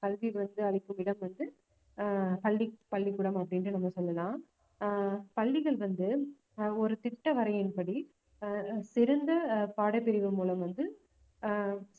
கல்வி வந்து அளிக்கும் இடம் வந்து ஆஹ் பள்ளி~ பள்ளிக்கூடம் அப்படின்னு நம்ம சொல்லலாம் ஆஹ் பள்ளிகள் வந்து ஆஹ் ஒரு திட்ட வரையின் படி ஆஹ் சிறந்த ஆஹ் பாடப்பிரிவு மூலம் வந்து